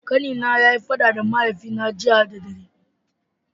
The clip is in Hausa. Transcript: Kani na ya yi fada da mahaifi na jiya da dare.